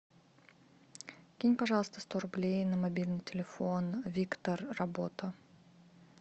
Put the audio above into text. кинь пожалуйста сто рублей на мобильный телефон виктор работа